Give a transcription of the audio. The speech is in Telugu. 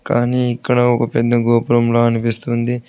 కానీ ఇక్కడ ఒక పెద్ద గోపురంలా అనిపిస్తుంది.